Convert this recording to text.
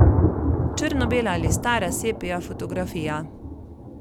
Črnobela ali stara sepia fotografija.